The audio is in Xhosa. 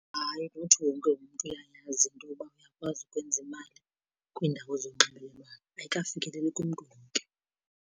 Hayi, not wonke umntu uyayazi into yoba uyakwazi ukwenza imali kwiindawo zonxibelelwano. Ayikafikeleleki kumntu wonke.